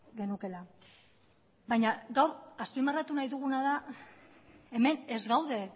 genukeela baina gaur azpimarratu nahi duguna da hemen ez gaude